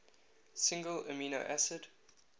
single amino acid